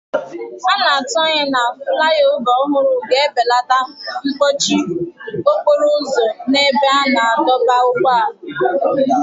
A na-atụ anya na fulaiova ọhụrụ ga-ebelata mkpọchi okporo ụzọ n'ebe a na-adọba ụgbọala.